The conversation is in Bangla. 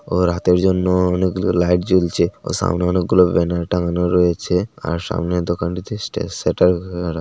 ও রাতের জন্যও অনেকগুলো লাইট জ্বলছে ও সামনে অনেকগুলো ব্যানার টাঙানো রয়েছে আর সামনে দোকানটিতে |